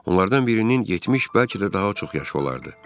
Onlardan birinin 70, bəlkə də daha çox yaşı olardı.